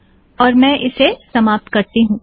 और मैं इसे समाप्त करती हूँ